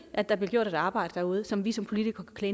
at der bliver gjort et arbejde derude som vi som politikere kan